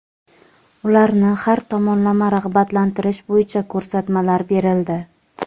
ularni har tomonlama rag‘batlantirish bo‘yicha ko‘rsatmalar berildi.